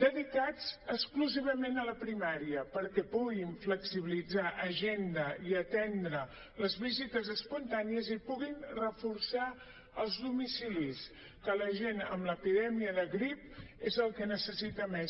dedicats exclusivament a la primària perquè puguin flexibilitzar agenda i atendre les visites espontànies i puguin reforçar els domicilis que la gent amb l’epidèmia de grip és el que necessita més